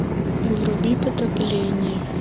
вруби потопление